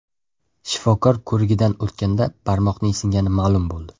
Shifokor ko‘rigidan o‘tganda barmoqning singani ma’lum bo‘ldi.